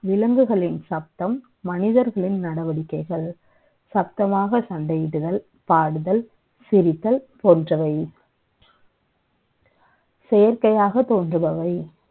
விலங்குகளின் சத்தம், மனிதர்களின் நடவடிக்கை கள். சத்தமாக சண்டை யிடுதல், பாடுதல், சிரித்தல் ப ோன்றவை . செ யற்கை யாக த ோன்றுபவை